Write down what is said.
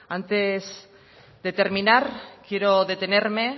antes de terminar quiero detenerme